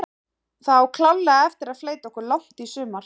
Það á klárlega eftir að fleyta okkur langt í sumar.